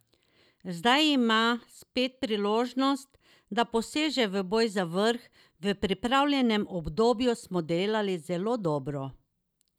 Zdaj ima spet priložnost, da poseže v boj za vrh: 'V pripravljalnem obdobju smo delali zelo dobro.